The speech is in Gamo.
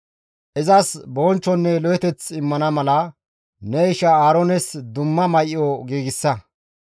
Izas bonchchonne lo7oteth immana mala ne isha Aaroones dumma may7o giigsa.